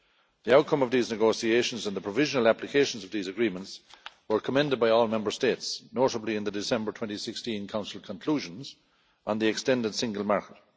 The outcome of these negotiations and the provisional applications of these agreements were commended by all Member States, notably in the December 2016 Council Conclusions on the extended single market.